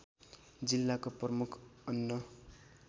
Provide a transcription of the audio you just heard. जिल्लाको प्रमुख अन्न